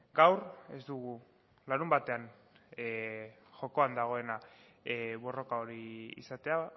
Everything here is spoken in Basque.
gaur ez dugu larunbatean jokoan dagoena borroka hori izatea